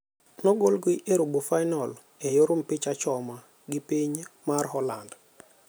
Nogolgi e robofainol e yor mpich achoma gi iny mar Holand.